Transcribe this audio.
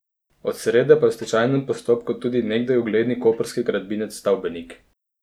Od srede pa je v stečajnem postopku tudi nekdaj ugledni koprski gradbinec Stavbenik.